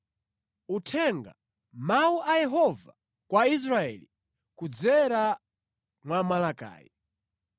Uthenga: Mawu a Yehova kwa Israeli kudzera mwa Malaki.